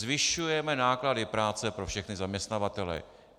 Zvyšujeme náklady práce pro všechny zaměstnavatele.